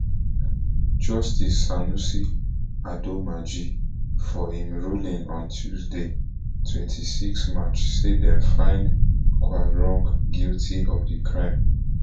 justice sanusi adomaaji for im ruling on tuesday twenty-six march say dem find quarong guilty of di crime